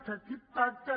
que aquest pacte